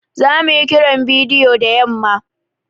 Zamu yi Kiran bidiyo da yamma.